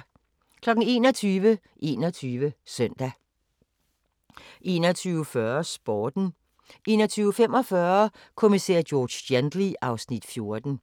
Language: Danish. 21:00: 21 Søndag 21:40: Sporten 21:45: Kommissær George Gently (Afs. 14)